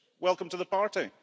Welcome to the party.